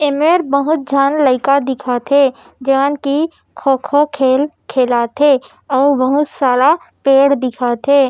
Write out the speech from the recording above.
एमेर बहुत झन लइका दिखत हे जेमन की खो-खो खेल खेलत हे अउ बहुत सारा पेड़ दिखत हे।